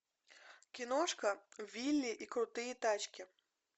киношка вилли и крутые тачки